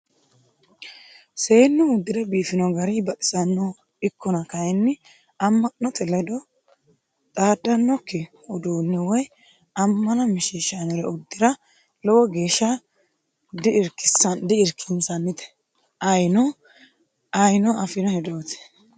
Seennu uddire biifano gari baxisanoho ikkonna kayinni ama'note ledo xaadanokki uduune woyi amana mishishanore uddira lowo geeshsha di"irkisannite ayeeeno affino hedoti.